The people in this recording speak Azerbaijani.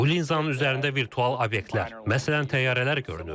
Bu linzanın üzərində virtual obyektlər, məsələn təyyarələr görünür.